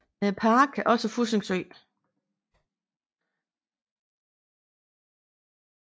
Med i parken er også Fussing Sø